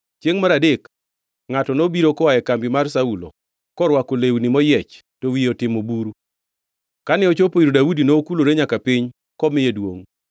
Chiengʼ mar adek ngʼato nobiro koa e kambi mar Saulo korwako lewni moyiech to wiye otimo buru, kane ochopo ir Daudi nokulore nyaka piny komiye duongʼ.